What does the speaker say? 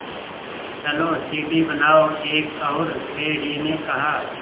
चलो सीढ़ी बनाओ एक और भेड़िए ने कहा